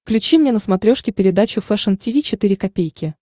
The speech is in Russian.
включи мне на смотрешке передачу фэшн ти ви четыре ка